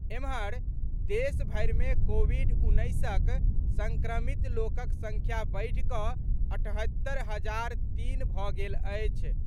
एम्हर, देशभरि मे कोविड उन्नैसक सङ्क्रमित लोकक सङ्ख्या बढ़ि कऽ अठहत्तरि हजार तीन भऽ गेल अछि।